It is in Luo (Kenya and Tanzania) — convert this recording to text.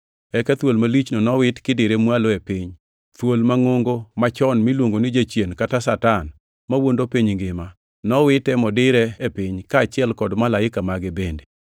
Eka thuol malichno nowit kidire mwalo e piny, thuol mangʼongo machon miluongo ni Jachien kata Satan, mawuondo piny ngima. Nowite modire e piny, kaachiel kod malaike mage bende.